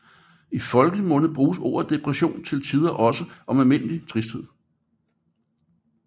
I folkemunde bruges ordet depression til tider også om almindelig tristhed